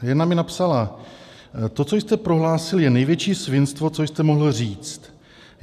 Jedna mi napsala: "To, co jste prohlásil, je největší svinstvo, co jste mohl říct.